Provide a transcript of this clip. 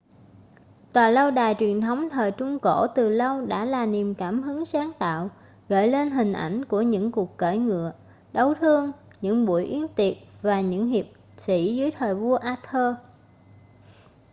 tòa lâu đài truyền thống thời trung cổ từ lâu đã là niềm cảm hứng sáng tạo gợi lên hình ảnh của những cuộc cưỡi ngựa đấu thương những buổi yến tiệc và những hiệp sĩ dưới thời vua arthur